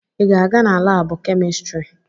Ị ga-aga na laabụ kemịstrị?